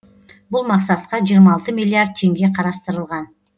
бұл мақсатқа жиырма алты миллиард теңге қарастырылған